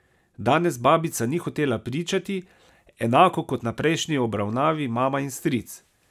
Danes babica ni hotela pričati, enako kot na prejšnji obravnavi mama in stric.